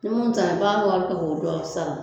Ni mun taara ka